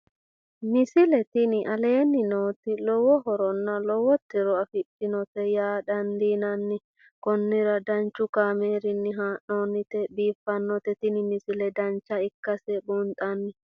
misile tini aleenni nooti lowo horonna lowo tiro afidhinote yaa dandiinanni konnira danchu kaameerinni haa'noonnite biiffannote tini misile dancha ikkase buunxanni